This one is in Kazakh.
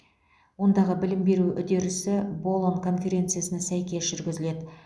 ондағы білім беру үдерісі болон конференциясына сәйкес жүргізіледі